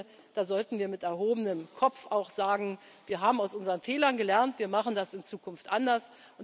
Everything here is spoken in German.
klar. Ich finde, da sollten wir auch mit erhobenem Kopf sagen Wir haben aus unseren Fehlern gelernt, wir machen das in Zukunft